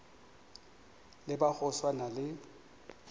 le ba go swana le